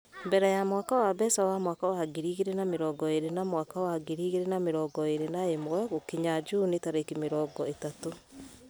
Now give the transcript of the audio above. mbere ya mwaka wa mbeca wa mwaka wa ngiri igĩrĩ na mĩrongo ĩrĩ na mwaka wa ngiri igĩrĩ na mĩrongo ĩrĩ na ĩmwe gũkinya juni tarĩki mĩrongo ĩtatũ .